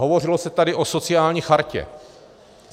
Hovořilo se tady o sociální chartě.